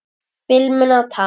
Filmuna takk!